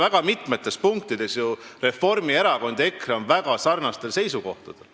Reformierakond ja EKRE on ju väga mitmetes punktides väga sarnastel seisukohtadel.